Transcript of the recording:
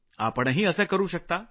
आपणही असं करू शकता